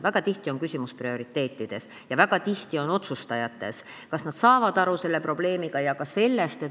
Väga tihti on küsimus prioriteetides ja väga tihti on küsimus otsustajates, selles, kas nad saavad sellest probleemist aru.